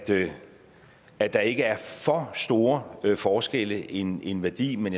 det at der ikke er for store forskelle en en værdi men